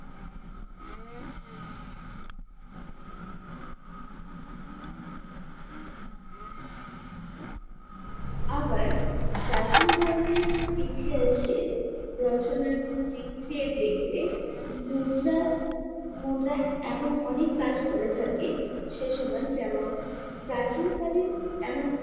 আবার প্রাচীন ভারতের ইতিহাসের রচনার দিক থেকে দেখলে মুদ্রা মুদ্রা এমন অনেক কাজ করে থাকে সেসময় যেমন প্রাচীনকালীন এমন